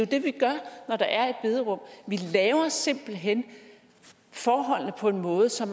det vi gør når der er et bederum vi laver simpelt hen forholdene på en måde så